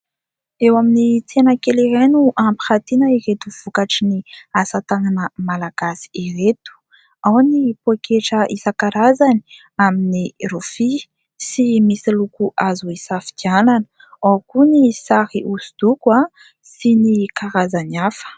Eo amin'ny tsena kely iray no ampirantiana ireto vokatry ny asa tànana malagasy ireto. Ao ny poketra isa-karazany amin'ny rofia sy misy loko azo hisafidianana. Ao koa ny sary hosodoko sy ny karazany hafa.